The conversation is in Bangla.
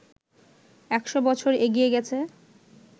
একশ বছর এগিয়ে গেছে